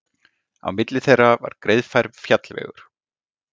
Á milli þeirra var greiðfær fjallvegur.